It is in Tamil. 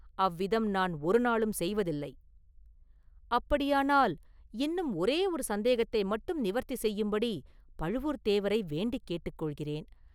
"அவ்விதம் நான் ஒரு நாளும் செய்வதில்லை…” “அப்படியானால், இன்னும் ஓரே ஒரு சந்தேகத்தை மட்டும் நிவர்த்தி செய்யும்படி பழுவூர்த்தேவரை வேண்டிக் கொள்கிறேன்."